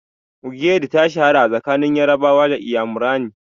Ogiri ta shahara a tsakanin Yarabawa da Inyamurani.